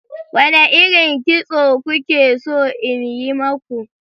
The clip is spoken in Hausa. Wane irin kitso kuke so in yi maku?